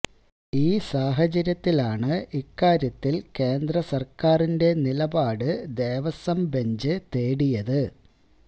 ഈ സാഹചര്യത്തിലാണ് ഇക്കാര്യത്തില് കേന്ദ്ര സര്ക്കാരിന്റെ നിലപാട് ദേവസ്വം ബെഞ്ച് തേടിയത്